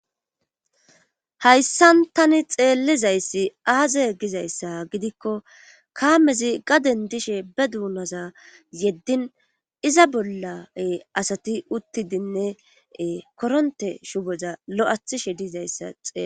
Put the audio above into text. hayssan tani xeellizayssi aaze gizayssa gidikko kaamezi gaden dishe be duunaza yeddin iza bolla asati uttidinne koronte shuboza lo'athishe diizayssa xeelaysi